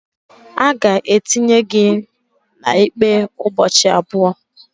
a ga-etinye gị na ikpe ụbọchị abụọ